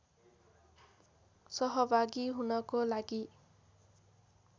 सहभागी हुनको लागि